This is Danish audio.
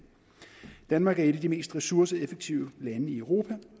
danmark er et af de mest ressourceeffektive lande i europa